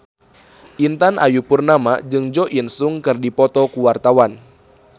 Intan Ayu Purnama jeung Jo In Sung keur dipoto ku wartawan